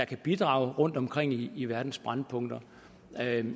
kan bidrage rundtomkring i verdens brændpunkter